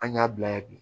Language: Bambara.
An y'a bila ye bi